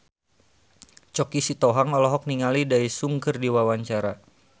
Choky Sitohang olohok ningali Daesung keur diwawancara